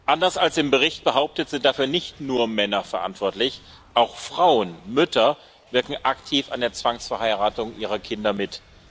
Anders als im Bericht behauptet, sind dafür nicht nur Männer verantwortlich, auch Frauen, Mütter wirken aktiv an der Zwangsverheiratung ihrer Kinder mit.